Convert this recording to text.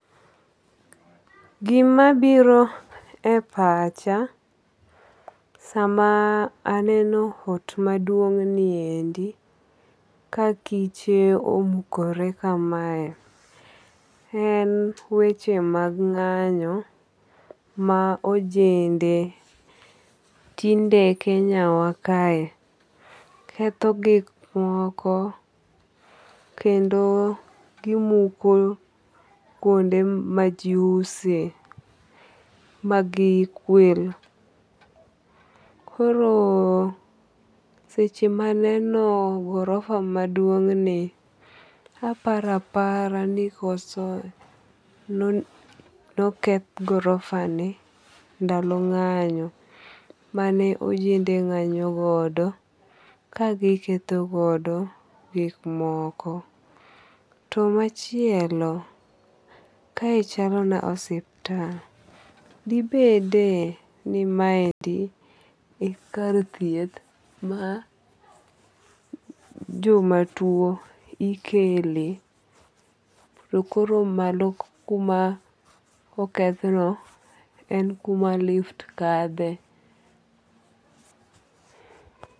Gima biro e pacha sama aneno ot maduong' ni endi ka kiche omukore kamae en weche mag ng'anyo ma ojende tinde Kenya wa kae ketho gik moko kendo gimuko kuonde ma ji use ma gi kwel. Koro seche maneno gorofa ' ni aparo apara ni koso noketh gorofa ndalo nga'nyo mane ojende ng'anyo godo ka giketho godo gik moko. To machielo kae chalo na osiptal. Dibede ni maendi e kar thieth ma joma tuo ikele to koro malo kuma oketh no e kuma lift kadhe.